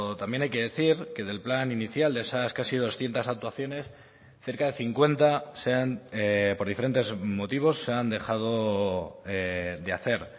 también hay que decir que del plan inicial de esas casi doscientos actuaciones cerca de cincuenta por diferentes motivos se han dejado de hacer